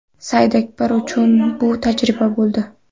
Saidakbar uchun bu tajriba bo‘ldi.